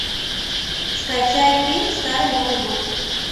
скачай фильм старый новый год